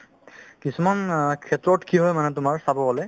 কিছুমান অ ক্ষেত্ৰত কি হয় মানে তোমাৰ চাব গ'লে